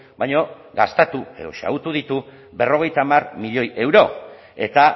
baina gastatu edo xahutu ditu berrogeita hamar milioi euro eta